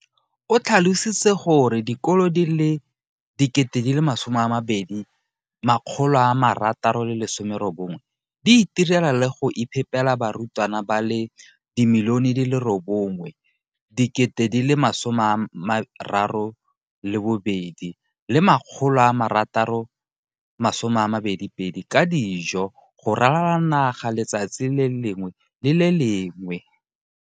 O tlhalositse gore dikolo di le 20 619 di itirela le go iphepela barutwana ba le 9 032 622 ka dijo go ralala naga letsatsi le lengwe le le lengwe.